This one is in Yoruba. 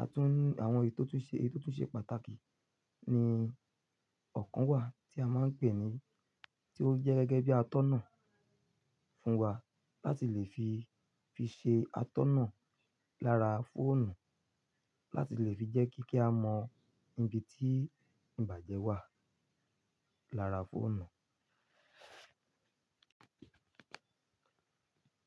a tún ní àwọn èyí tó tún ṣe pàtàkì ni ọ̀kan wà tí a máa ń pè ní tí ó jẹ́ gẹ́gẹ́ bí atọ́nà fún wa láti lè fi ṣe atọ́nà lára fóònù, láti lè fi jẹ́ kí kí a mọ ibi tí ìbàjẹ́ wà lára fóònù.